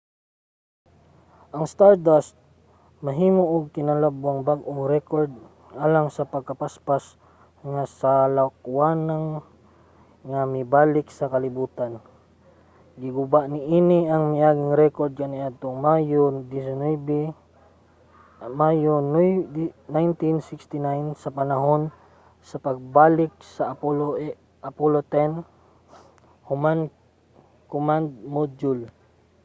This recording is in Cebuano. ang stardust maghimo og kinalabwang bag-ong rekord alang sa pinakapaspas nga salakwanang nga mibalik sa kalibutan giguba niini ang miaging rekord kaniadtong mayo 1969 sa panahon sa pagbalik sa apollo x command module